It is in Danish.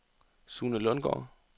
Sune Lundgaard